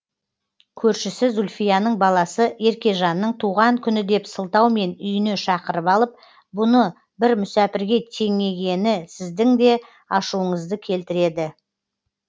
көршісі зульфияның баласы еркежанның туған күні деп сылтаумен үйіне шақырып алып бұны бір мүсәпірге теңегені сіздің де ашуыңызды келтіреді